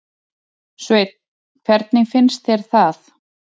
Sveinn: Hvernig finnst þér það?